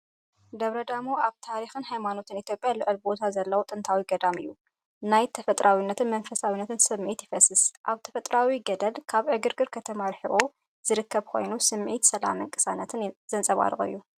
ደብረ ዳሞ ኣብ ታሪኽን ሃይማኖትን ኢትዮጵያ ልዑል ቦታ ዘለዎ ጥንታዊ ገዳም እዩ። ናይ ጥንታዊነትን መንፈሳውነትን ስምዒት ይፈስስ። ኣብ ተፈጥሮኣዊ ገደል፡ ካብ ዕግርግርን ዕግርግርን ከተማ ርሒቑ ዝርከብ ኮይኑ፡ ስምዒት ሰላምን ቅሳነትን ዘንጸባርቕ እዩ።